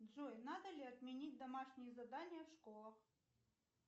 джой надо ли отменить домашние задания в школах